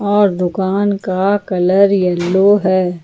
और दुकान का कलर यलो है।